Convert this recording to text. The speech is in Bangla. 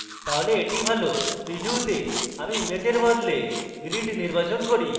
preview তে আমি image এর বদলে grid নির্বাচন করি